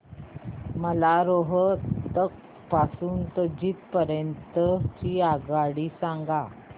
मला रोहतक पासून तर जिंद पर्यंत ची आगगाडी सांगा